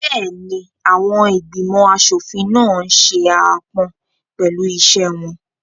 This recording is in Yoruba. Bẹ́ẹ̀ni, àwọn ìgbìmọ̀ aṣòfin náà n ṣe aápọn pẹ̀lú iṣẹ́ wọn